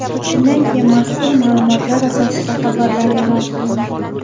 Shundan keyin mazkur ma’lumotlar asosida xabarlar e’lon qilindi.